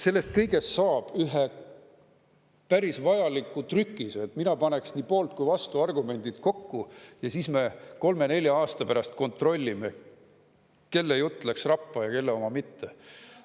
Sellest kõigest saab ühe päris vajaliku trükise, mina paneks nii poolt- kui ka vastuargumendid kokku ja siis me kolme-nelja aasta pärast kontrollime, kelle jutt läks rappa ja kelle oma mitte.